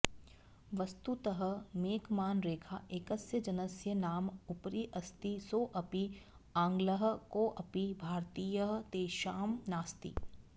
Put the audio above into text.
वस्तुतः मेकमान रेखा एकस्य जनस्य नाम उपरि अस्ति सोऽपि आङ्ग्लः कोऽपि भारतीयः तेषां नास्ति